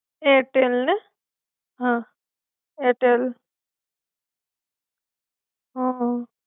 Airtel ને? હા. Airtel. હા! હા!